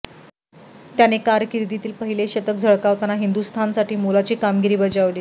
त्याने कारकीर्दीतील पहिलेच शतक झळकावताना हिंदुस्थानसाठी मोलाची कामगिरी बजावली